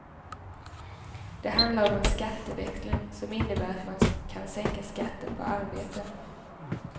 Det handlar om en skatteväxling, som innebär att man kan sänka skatten på arbete.